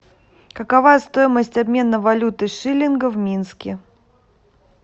какова стоимость обмена валюты шиллинга в минске